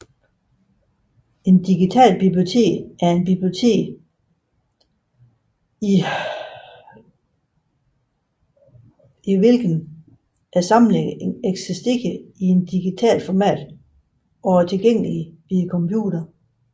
Et digitalt bibliotek er et bibliotek i hvilket samlingerne eksisterer i et digitalt format og er tilgængelige via computere